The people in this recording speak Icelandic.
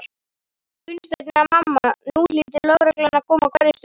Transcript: Gunnsteinn eða mamma, nú hlýtur lögreglan að koma á hverri stundu.